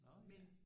Nå ja